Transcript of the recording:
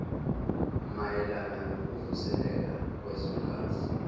mayelana nokuvuselela kwezwekazi